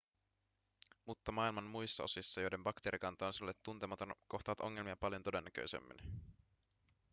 mutta maailman muissa osissa joiden bakteerikanta on sinulle tuntematon kohtaat ongelmia paljon todennäköisemmin